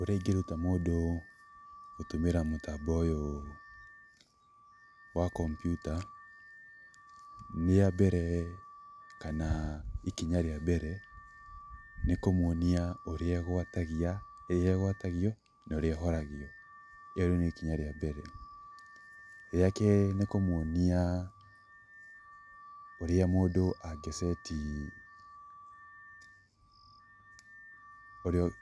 Ũrĩa ingĩruta mũndũ gũtũmĩra mũtambo ũyũ wa kompiuta, nĩ wa mbere, kana ikinya rĩa mbere nĩ kũmwonia ũrĩa ĩgwatagio na ũrĩa ĩhũragio, ĩyo rĩu nĩ ikinya rĩa mbere. Rĩa kerĩ nĩ kũmwonia ũrĩa mũndũ ũrĩa mũndũ angĩ ceti,